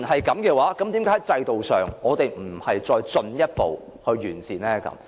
既然如此，為何我們不進一步完善制度？